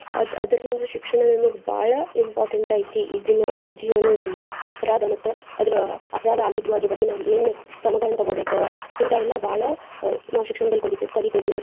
ಅದ್ ಅದ್ರಲಿಂದ ಶಿಕ್ಷಣ ನಮ್ಗ್ ಬಾಳ important ಐತಿ ಈಗಿನ ಜೀವನದಲ್ಲಿ. ಅಪರಾಧ ಮತ್ತ್ ಅದರ ಅಪರಾಧ ಆಗಿದ್ರೂ ಅದರ ಬಗ್ಗೆ ನಾವ್ ಏನು ಕ್ರಮಗಳನ್ನ ತುಗೋಬೇಕ ಇಂತಾವೆಲ್ಲಾ ಬಾಳ ನಾವ್ ಶಿಕ್ಷಣದಲ್ಲಿ ಕಲಿ ಕಲಿತೇವಿ.